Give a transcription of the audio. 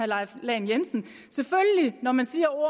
leif lahn jensen når man siger